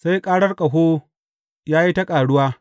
sai karar ƙaho ya yi ta ƙaruwa.